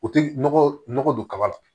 O tɛ nɔgɔ don kaba la